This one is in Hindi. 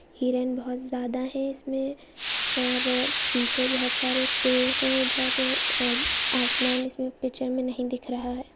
हिरन बहुत ज़्यादा है। इसमें और पीछे बोहत सारे पेड़ है। इधर आ ओं आसमान इसमें पिक्चर में नहीं दिख रहा है।